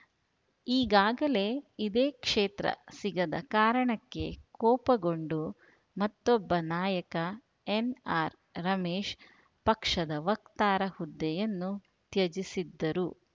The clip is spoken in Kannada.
ಈಗಾಗಲೇ ಇದೇ ಕ್ಷೇತ್ರ ಸಿಗದ ಕಾರಣಕ್ಕೆ ಕೋಪಗೊಂಡು ಮತ್ತೊಬ್ಬ ನಾಯಕ ಎನ್‌ಆರ್‌ರಮೇಶ್‌ ಪಕ್ಷದ ವಕ್ತಾರ ಹುದ್ದೆಯನ್ನು ತ್ಯಜಿಸಿದ್ದರು